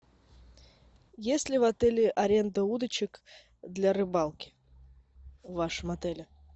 есть ли в отеле аренда удочек для рыбалки в вашем отеле